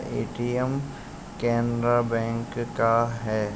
ATM Canara bank का है।